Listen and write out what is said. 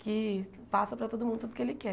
que passa para todo mundo tudo o que ele quer.